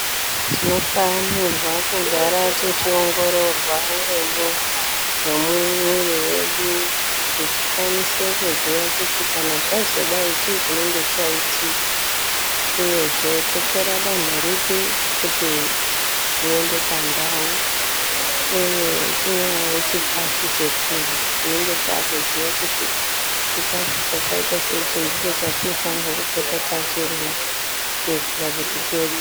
Tinofanirwa kugara techiongororwa uremu hwemuwiri wedu kuti tikwanise kuziya kuti kana zvazodai chii chinenge chaitika uyezve totora danho ripi kuti zviende pandau, uye chinyari chikafu chekurya tinenge takuziya kuti chikafu chakaita seichi ndicho chatinofanirwa kupota techirya kuitira kuti tiwedze.